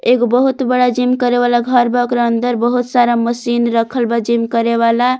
एगो बहुत बड़ा जिम करे वाला घर बा। ओकरा अंदर बहुत सारा मशीन रखल बा जिम करे वाला।